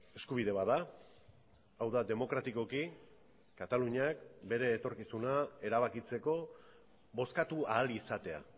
eskubide bat da hau da demokratikoki kataluniak bere etorkizuna erabakitzeko bozkatu ahal izatea